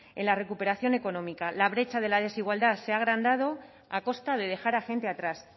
en la recuperación económica la brecha de la desigualdad se ha agrandado a costa de dejar a gente atrás